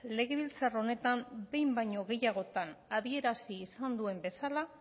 legebiltzar honetan behin baino gehiagotan adierazi izan duen bezala